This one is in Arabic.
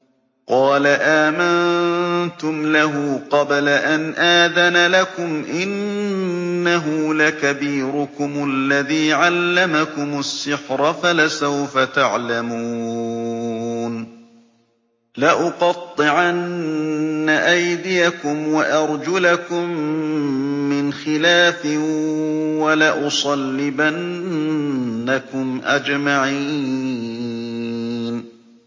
قَالَ آمَنتُمْ لَهُ قَبْلَ أَنْ آذَنَ لَكُمْ ۖ إِنَّهُ لَكَبِيرُكُمُ الَّذِي عَلَّمَكُمُ السِّحْرَ فَلَسَوْفَ تَعْلَمُونَ ۚ لَأُقَطِّعَنَّ أَيْدِيَكُمْ وَأَرْجُلَكُم مِّنْ خِلَافٍ وَلَأُصَلِّبَنَّكُمْ أَجْمَعِينَ